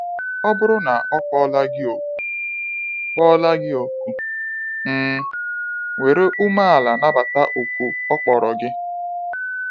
Ọ bụrụ na ọ kpọla gị òkù, kpọla gị òkù, um were umeala nabata òkù ọ kpọrọ gị.